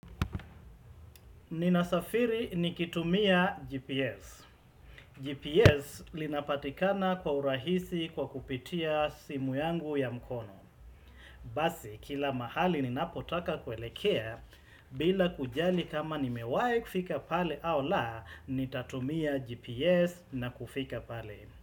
Ninasafiri nikitumia GPS. GPS linapatikana kwa urahisi kwa kupitia simu yangu ya mkono. Basi kila mahali ninapotaka kuelekea bila kujali kama nimewahi kufika pale au la nitatumia GPS na kufika pale.